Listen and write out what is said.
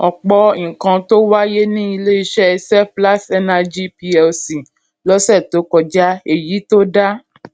ọpọ nǹkan ló wáyé ní ilé iṣẹ seplat energy plc lọsẹ tó kọjá èyí tó dá